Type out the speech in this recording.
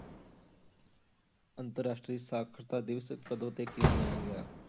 ਅੰਤਰ ਰਾਸ਼ਟਰੀ ਸਾਖ਼ਰਤਾ ਦਿਵਸ ਕਦੋਂ ਅਤੇ ਕਿਉਂ ਮਨਾਇਆ ਗਿਆ?